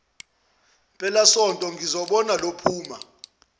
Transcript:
mpelasonto ngizobona lophuma